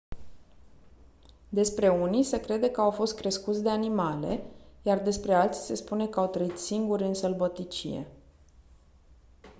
despre unii se crede că au fost crescuți de animale iar despre alții se spune că au trăit singuri în sălbăticie